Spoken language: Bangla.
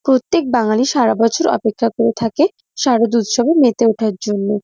প্রত্যেক বাঙালি সারা বছর অপেক্ষা করে থাকে শারদ উৎসবে মেতে ওঠার জন্য।